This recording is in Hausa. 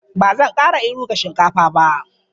Ba zan ƙara iru ga shinkafa ba.